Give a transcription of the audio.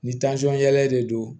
Ni yɛlɛ de don